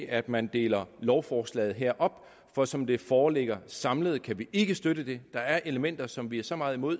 at man deler lovforslaget her op for som det foreligger samlet kan vi ikke støtte det der er elementer som vi er så meget imod